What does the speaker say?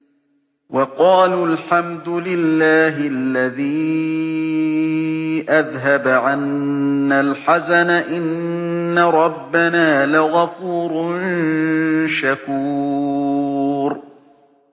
وَقَالُوا الْحَمْدُ لِلَّهِ الَّذِي أَذْهَبَ عَنَّا الْحَزَنَ ۖ إِنَّ رَبَّنَا لَغَفُورٌ شَكُورٌ